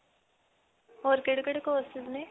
ਹੋਰ ਕਿਹੜੇ-ਕਿਹੜੇ courses ਨੇ?